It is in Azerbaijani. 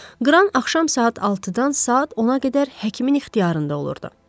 Qran axşam saat 6-dan saat 10-a qədər həkimin ixtiyarında olurdu.